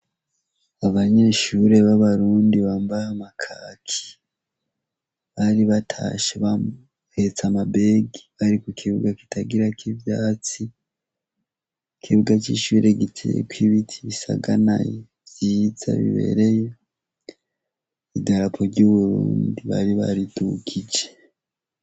Abanyeshuri b'abarundi bambahe amakaki bari batashe bahetsa amabega bariku kibuga kitagira ko'ivyatsi ikibuga c'ishuire giteko ibiti bisaganaye vyiza bibereye idaraku ry'uburundi bariba baritukije.